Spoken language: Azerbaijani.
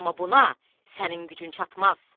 Amma buna sənin gücün çatmaz.